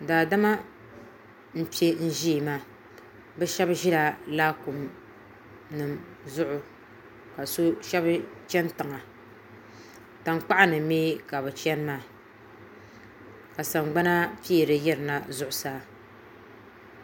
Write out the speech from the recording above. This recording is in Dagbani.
daadama m-pe ʒia maa bɛ shɛba ʒila laakuminima zuɣu ka shɛba chani tiŋa tankpaɣu ni mi ka bɛ chani maa ka sangbana peeri yirina zuɣusaa